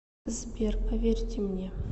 сбер поверьте мне